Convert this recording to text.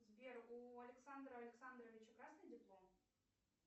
сбер у александра александровича красный диплом